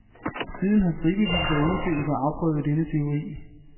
Siden har stribevis af undersøgelser afprøvet denne teori.